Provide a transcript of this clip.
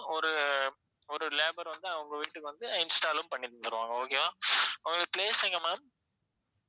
ஒரு ஒரு labour வந்து உங்க வீட்டுக்கு வந்து install உம் பண்னி தந்திடுவாங்க okay வா உங்க place எங்க ma'am